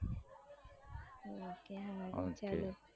Ok હા ચાલો